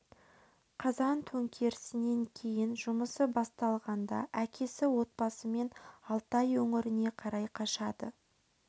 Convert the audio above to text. қазан төңкерісінен кейін жұмысы басталғанда әкесі отбасымен алтай өңіріне қарай қашады